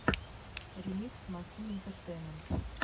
ремикс мозги интертеймент